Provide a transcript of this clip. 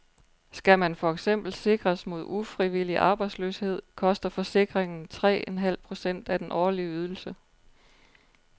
Skal man for eksempel sikres mod ufrivillig arbejdsløshed, koster forsikringen tre en halv procent af den årlige ydelse.